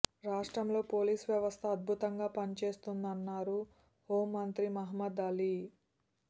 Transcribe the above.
రాష్ట్రంలో పోలీస్ వ్యవస్థ అద్భుతంగా పనిచేస్తుందన్నారు హోంమంత్రి మహమ్మద్ అలీ